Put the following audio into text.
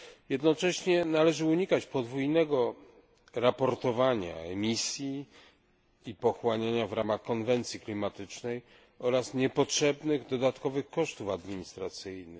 Jednocześnie należy unikać podwójnego raportowania emisji i pochłaniania w ramach konwencji klimatycznej oraz niepotrzebnych dodatkowych kosztów administracyjnych.